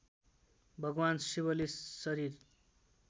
भगवान शिवले शरीर